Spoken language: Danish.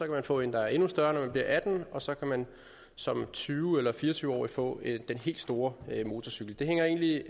kan få en der er endnu større når man bliver atten år og så kan man som tyve årig eller fire og tyve årig få den helt store motorcykel det hænger egentlig